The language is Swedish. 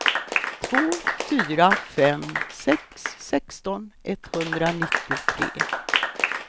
två fyra fem sex sexton etthundranittiotre